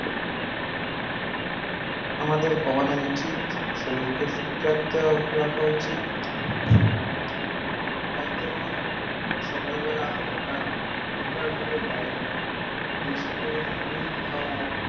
আমাদের কমানো উচিৎ, শরীরকে fit রাখা উচিৎ। তার জন্য সকালবেলা হাটা proper ভাবে diet, বেশি করে fruit খাওয়া